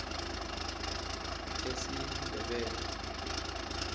esindebele